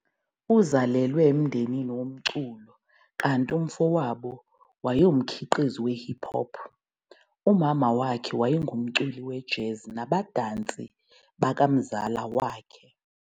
Uzalelwe emndenini womculo, kanti umfowabo wayengumkhiqizi we-hip hop, umama wakhe wayengumculi wejazz, nabadansi bakamzala wakhe.